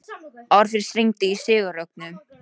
Orfeus, hringdu í Sigurrögnu.